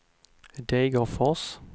Degerfors